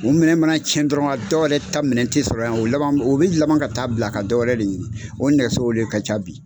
O minɛn mana cɛn dɔrɔn dɔw yɛrɛ ta minɛn tɛ sɔrɔ yan o laban o bi laban ka taa bila ka dɔwɛrɛ de ɲini o nɛgɛsow de ka ca bi.